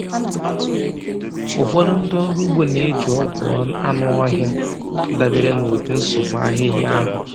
Ụfọdụ ndị ọrụ ugbo na-eji ọgwụ anụ ọhịa dabere na ụdị nsogbu ahịhịa a hụrụ.